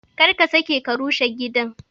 Kar ka sake ka rushe gidan!